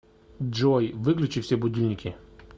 джой выключи все будильники